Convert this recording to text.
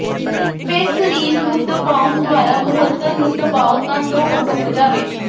ਫਿਰ ਸਰੀਰ ਨੂੰ ਦਬਾਉਣ ਦੁਆਰਾ ਮੁਅੱਤਲ ਨੂੰ ਦਬਾਓ ਤਾਂ ਜੋ ਉਹ ਡੁੱਬ ਜਾਵੇ